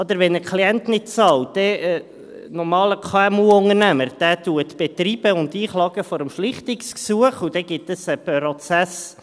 – Nicht wahr, wenn ein Klient nicht zahlt, betreibt ein normaler KMU-Unternehmer und klagt vor der Schlichtungsstelle ein, und dann gibt es einen Prozess.